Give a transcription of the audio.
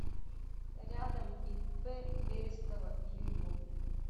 рядом ип берестова юю